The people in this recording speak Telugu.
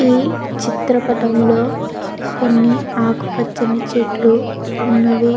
ఈ చిత్రపటంలో కొన్ని ఆకుపచ్చని చెట్లు ఉన్నవి.